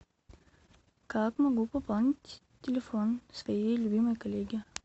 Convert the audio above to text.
как могу пополнить телефон своей любимой коллеги